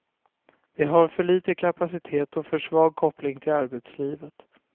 Det har för liten kapacitet och för svag koppling till arbetslivet.